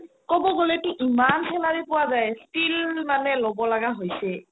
ক'ব গ'লেটো ইমান salary পুৱা যাই still মানে ল'ব লাগা হৈছে